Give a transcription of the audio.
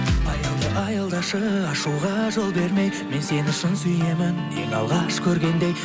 аялда аялдашы ашуға жол бермей мен сені шын сүйемін ең алғаш көргендей